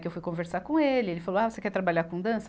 Que eu fui conversar com ele, ele falou, ah, você quer trabalhar com dança?